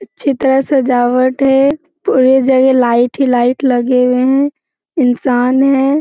अच्छी तरह सजावट है पूरी जगह लाइट ही लाइट लगे हुए हैं इंसान हैं।